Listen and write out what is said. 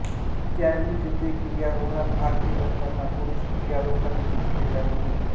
त्यावेळी तेथे गिर्यारोहणात भाग घेत असताना पुरुष गिर्यारोहकांनी तिची हेटाळणी केली